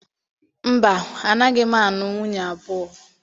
Mba, anaghị m anụ nwunye abụọ